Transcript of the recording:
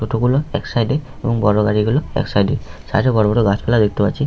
টোটো গুলো এক সাইড এ এবং বড় গাড়ি গুলো এক সাইড এ। সাইড এ ।বড় বড় গাছপালা দেখতে পাচ্ছি।